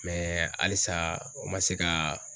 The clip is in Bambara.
halisa u ma se ka